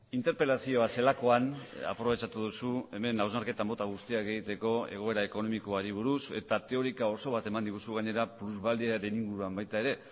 interpelazioa zelakoan aprobetxatu duzu hemen hausnarketa mota guztiak egiteko egoera ekonomikoari buruz eta teorika oso bat eman diguzu gainera plusbaliaren inguruan baita ere